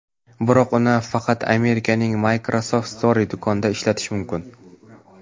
Biroq uni faqat Amerikaning Microsoft Store do‘konida ishlatish mumkin.